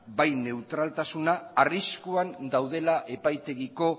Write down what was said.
bai neutraltasuna arriskuan daudela epaitegiko